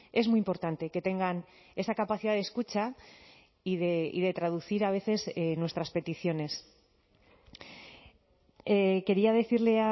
es muy importante que tengan esa capacidad de escucha y de traducir a veces nuestras peticiones quería decirle